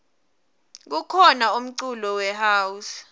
kukhona umculo we house